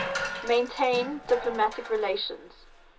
maintain diplomatic relations